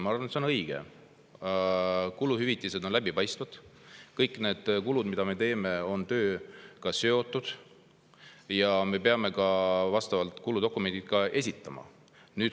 Ma arvan, et see on õige, et kuluhüvitised on läbipaistvad ja kõik kulud, mida me teeme, on tööga seotud ja me peame ka kuludokumendid esitama.